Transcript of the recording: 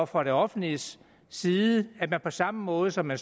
fra det offentliges side på samme måde som man